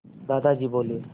दादाजी बोले